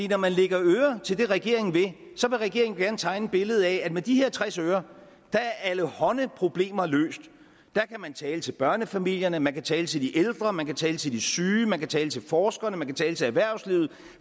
når man lægger øre til det regeringen vil så vil regeringen gerne tegne et billede af at med de her tres øre er allehånde problemer løst der kan man tale til børnefamilierne man kan tale til de ældre man kan tale til de syge man kan tale til forskerne man kan tale til erhvervslivet